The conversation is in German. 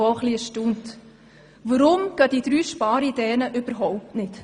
Weshalb funktionieren diese drei Sparideen überhaupt nicht?